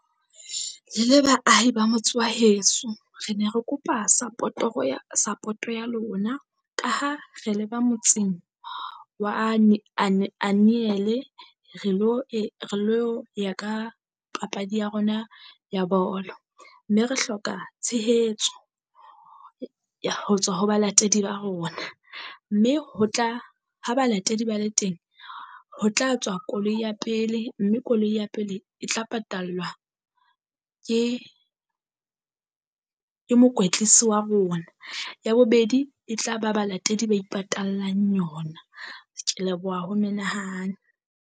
Le le baahi ba motse wa heso re ne re kopa support-oro ya support-o ya lona, ka ha re le ba motseng wa re lo e re lo ya ka papadi ya rona ya bolo. Mme re hloka tshehetso ho tswa ho balatedi ba rona, mme ho tla ha balatedi ba le teng ho tla tswa koloi ya pele mme koloi ya pele e tla patallwa ke ke mokwetlisi wa rona, ya bobedi e tla ba balatedi ba ipatallang yona, kea leboha ho menahane.